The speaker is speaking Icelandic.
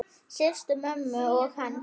Systur mömmu og hans.